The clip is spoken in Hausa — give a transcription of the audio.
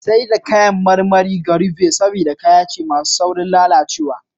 Saida kan marmari gyari ve, saboda kaya ne masu saurin lalacewa.